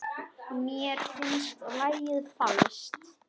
Mér finnst lagið falskt.